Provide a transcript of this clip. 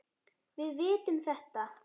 Við vitum þetta.